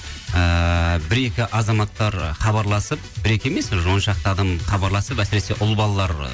ыыы бір екі азаматтар хабарласып бір екі емес уже он шақты адам хабарласып әсіресе ұл балалар